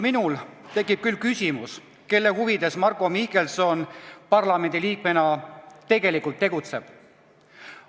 Minul isiklikult tekib küll küsimus, kelle huvides Marko Mihkelson parlamendiliikmena tegelikult tegutseb.